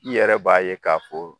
I yɛrɛ b'a ye k'a fɔ